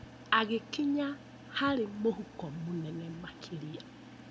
Agĩkinya harĩ mũhuko mũnene makĩria.